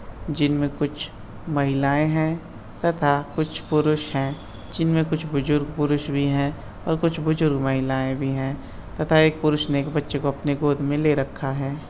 जिन में कुछ महिलाएं हैं तथा कुछ पुरुष हैं जिन में कुछ बुजुर्ग पुरुष भी हैं और कुछ बुजुर्ग महिलाएं भी हैं तथा एक पुरुष ने एक बच्चे को अपने गोद में ले रखा है।